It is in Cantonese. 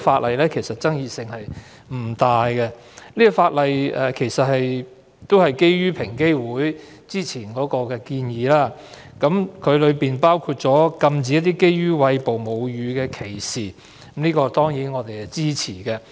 《條例草案》的爭議性並不大，當中的修訂都是基於平機會之前的建議，包括禁止對餵哺母乳女性的歧視，我們當然支持。